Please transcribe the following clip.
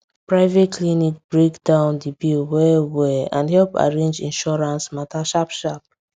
private clinic break down the bill well and help arrange insurance matter sharp sharp